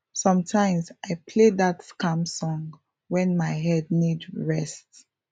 sometimes i play that calm song when my head need rest